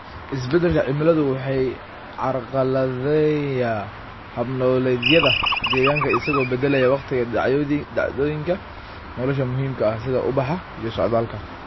Isbeddelka cimiladu wuxuu carqaladeeyaa hab-nololeedyada deegaanka isagoo beddelaya waqtiga dhacdooyinka nolosha muhiimka ah, sida ubaxa iyo socdaalka.